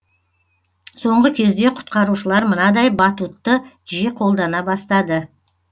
соңғы кезде құтқарушылар мынадай батутты жиі қолдана бастады